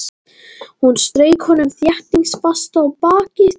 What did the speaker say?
Hún strauk honum þéttingsfast á bakið.